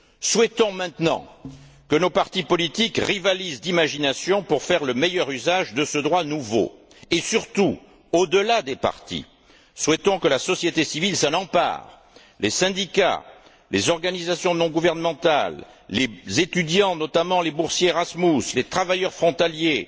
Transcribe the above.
Souhaitons maintenant que nos partis politiques rivalisent d'imagination pour faire le meilleur usage de ce droit nouveau, et surtout, au delà des partis, souhaitons que la société civile s'en empare les syndicats, les organisations non gouvernementales, les étudiants notamment les boursiers Erasmus les travailleurs frontaliers,